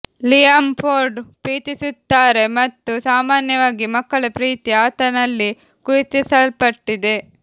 Liam Ford ಪ್ರೀತಿಸುತ್ತಾರೆ ಮತ್ತು ಸಾಮಾನ್ಯವಾಗಿ ಮಕ್ಕಳ ಪ್ರೀತಿ ಆತನಲ್ಲಿ ಗುರುತಿಸಲ್ಪಟ್ಟಿದೆ